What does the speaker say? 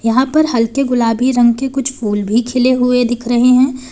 यहां पर हल्के गुलाबी रंग के कुछ फूल भी खिले हुए दिख रहे हैं।